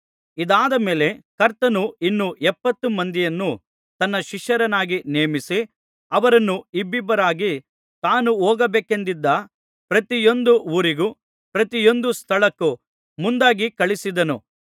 ಇದಾದ ಮೇಲೆ ಕರ್ತನು ಇನ್ನೂ ಎಪ್ಪತ್ತು ಮಂದಿಯನ್ನು ತನ್ನ ಶಿಷ್ಯರನ್ನಾಗಿ ನೇಮಿಸಿ ಅವರನ್ನು ಇಬ್ಬಿಬ್ಬರಾಗಿ ತಾನು ಹೋಗಬೇಕೆಂದಿದ್ದ ಪ್ರತಿಯೊಂದು ಊರಿಗೂ ಪ್ರತಿಯೊಂದು ಸ್ಥಳಕ್ಕೂ ಮುಂದಾಗಿ ಕಳುಹಿಸಿದನು